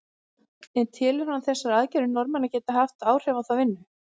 En telur hann þessar aðgerðir Norðmanna geta haft áhrif á þá vinnu?